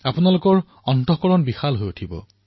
আপোনালোকৰ অন্তৰ্ভাগ ব্যাপক হৈ পৰিব